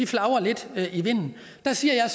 flagrer lidt i vinden der siger